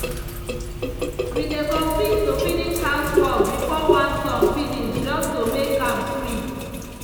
we dey compete to finish housework before one song finish just to make am sweet.